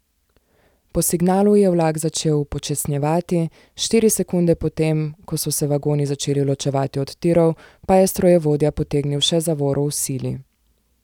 Po signalu je vlak začel upočasnjevati, štiri sekunde potem, ko so se vagoni začeli ločevati od tirov, pa je strojevodja potegnil še zavoro v sili.